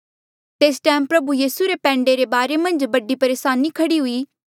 तेस टैम प्रभु यीसू रे पैंडे रे बारे मन्झ बड़ी परेसानी खड़ी हुई